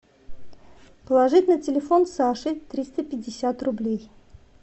положить на телефон саше триста пятьдесят рублей